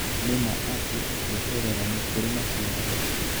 Nĩ ma atĩ gweterera nĩkurĩ maciaro